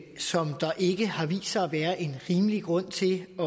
som der ikke har vist sig at være en rimelig grund til at